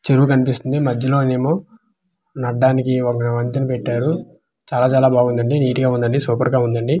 చెరువు కన్పిస్తుంది మధ్యలోనేమో నడ్డానికి ఒక వంతెన పెట్టారు చాలా-చాలా బాగుందండి నీట్ గా ఉందండి సూపర్ గా ఉందండి.